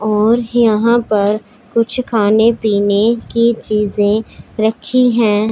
और यहां पर कुछ खाने पीने की चीजे रखी है।